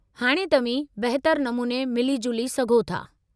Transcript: हाणे तव्हीं बहितरु नमूने मिली-जुली सघो था।